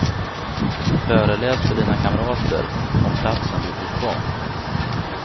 Föreläs för dina kamrater om platsen dit du ska.